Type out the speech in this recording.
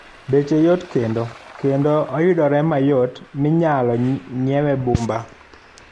Beche yot kendo kendo oyudre mayot minyalo ng'iewe bumba.